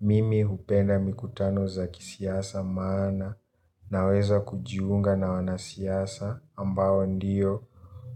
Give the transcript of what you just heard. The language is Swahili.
Mimi hupenda mikutano za kisiasa maana naweza kujiunga na wanasiasa ambao ndio